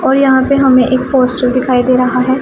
और यहां पे हमें एक पोस्टर दिखाई दे रहा है।